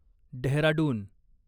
Dehradun